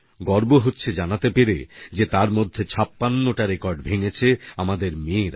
গর্ব হচ্ছে জানাতে পেরে যে তার মধ্যে 56 টা রেকর্ড ভেঙেছে আমাদের মেয়েরা